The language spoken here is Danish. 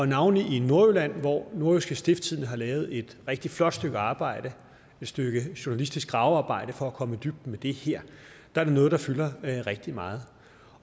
navnlig i nordjylland hvor nordjyske stiftstidende har lavet et rigtig flot stykke arbejde et stykke journalistisk gravearbejde for at komme i dybden med det her er det noget der fylder rigtig meget